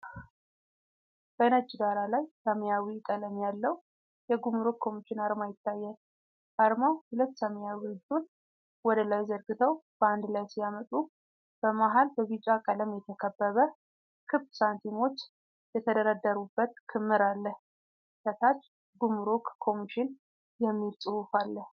በነጭ ዳራ ላይ ሰማያዊ ቀለም ያለው የጉምሩክ ኮሚሽን አርማ ይታያል። አርማው ሁለት ሰማያዊ እጆች ወደ ላይ ዘርግተው በአንድ ላይ ሲያመጡ፤ በመሃል በቢጫ ቀለም የተከበበ ክብ ሳንቲሞች የተደረደሩበት ክምር አለ። ከታች “ጉምሩክ ኮሚሽን” የሚል ጽሑፍ አለ።